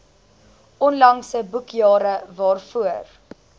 onlangse boekjare waarvoor